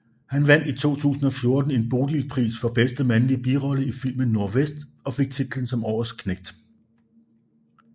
Han vandt i 2014 en Bodilpris for bedste mandlige birolle i filmen Nordvest og fik titlen som Årets Knægt